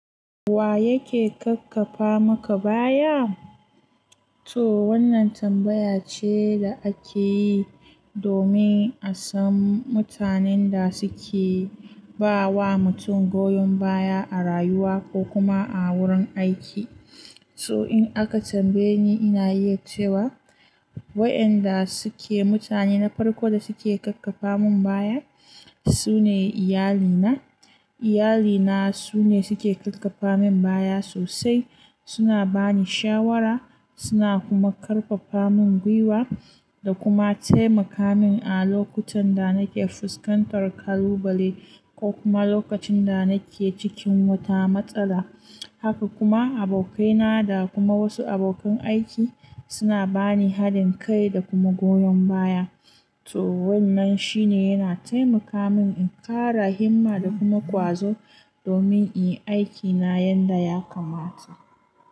Wa yake kakkafa maka baya? To wannan tambaya ce da ake yi domin a san mutanen da suke ba wa mutum goyon baya a rayuwa ko kuma a wurin aiki. To in aka tambaye ni, ina iya cewa wayanda suke mutane na farko da suke kakkafa mun baya su ne iyalina. Iyali na su ne suke kakkafa mun baya sosai. Suna bani shawara, suna kuma karfafa mun gwiwa da kuma taimaka min a lokutan da nake fuskantar kalubale ko kuma lokacin da nake cikin wata matsala. Haka kuma abokaina da kuma wasu abokan aiki suna bani haɗin kai da kuma goyan baya. To wannan shi ne yana taimaka min in ƙara himma da kuma ƙwazo domin in yi aikina yanda ya kamata.